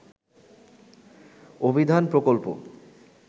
অভিধান প্রকল্প